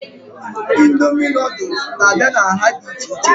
Indomie noodules n'abia n'nha dị ichè ichè